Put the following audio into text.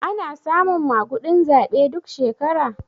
Ana samun maguɗin zaɓe duk shekara?